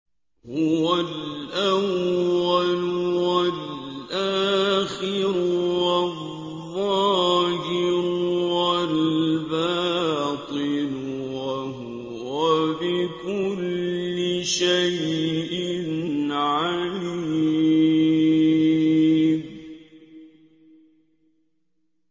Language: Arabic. هُوَ الْأَوَّلُ وَالْآخِرُ وَالظَّاهِرُ وَالْبَاطِنُ ۖ وَهُوَ بِكُلِّ شَيْءٍ عَلِيمٌ